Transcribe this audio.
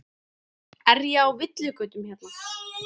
Er ég á villigötum hérna?